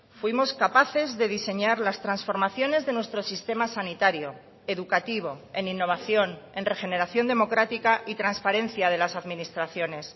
fuimos capaces de diseñar las transformaciones de nuestro sistema sanitario educativo en innovación en regeneración democrática y transparencia de las administraciones